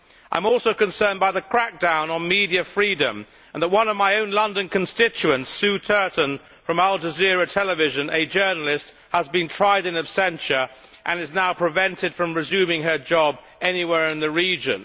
I am also concerned by the crackdown on media freedom and the fact that one of my own London constituents, Sue Turton from al Jazeera television, a journalist, has been tried in absentia and is now prevented from resuming her job anywhere in the region.